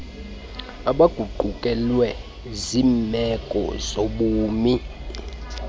abaguqukelwe ziimeko zobumi